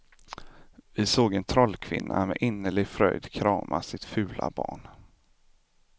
Vi såg en trollkvinna med innerlig fröjd krama sitt fula barn.